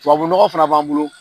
Tubabunɔgɔ fana b'an bolo.